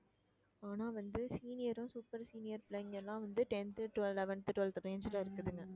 ஆனா வந்து senior ரும் super senior பிள்ளைங்க எல்லாம் வந்து tenth twelve eleventh twelfth range ல இருக்குதுங்க